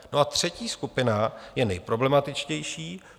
No a třetí skupina je nejproblematičtější.